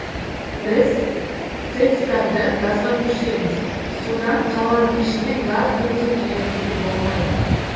біз тэц тарды газға көшіреміз содан қаланың ішіне газ кіргізу қажеттілігі болмайды